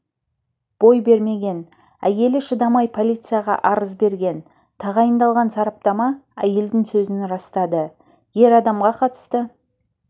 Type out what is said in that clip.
бой бермеген әйелі шыдамай полицияға арыз берген тағайындалған сараптама әйелдің сөзін растады ер адамға қатысты